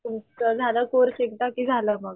तुमचा झाला एकदा कोर्स कि झाला मग,